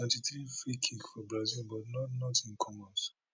seventy threefreekick for brazil but not not in come out